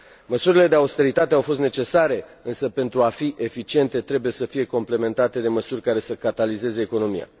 Măsurile de austeritate au fost necesare, însă pentru a fi eficiente trebuie să fie complementate de măsuri care să catalizeze economia.